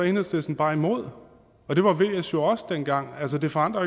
enhedslisten bare imod og det var vs jo også dengang altså det forandrer